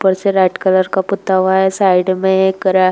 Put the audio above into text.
ऊपर से red colour का पुता हुआ है। साइड में एक रे --